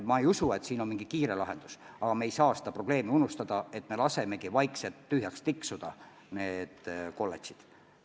Ma ei usu, et on mingi kiire lahendus, aga me ei tohi seda probleemi unustada, nii et lasemegi vaikselt need kolledžid tühjaks tiksuda.